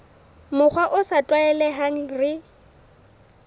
mokgwa o sa tlwaelehang re